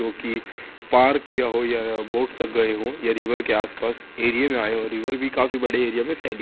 जो की पार्क किया हो या बोट तक गए हो या रिवर के आस पास एरिया में आए हो रिवर भी काफी बड़े एरिया में फैली --